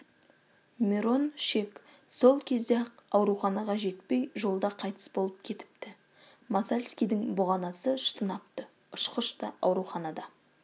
мирон шек сол кезде-ақ ауруханаға жетпей жолда қайтыс болып кетіпті масальскийдің бұғанасы шытынапты ұшқыш та ауруханада